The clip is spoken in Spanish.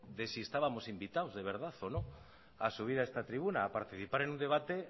de si estábamos invitados de verdad o no a subir a esta tribuna a participar en un debate